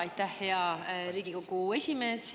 Aitäh, hea Riigikogu esimees!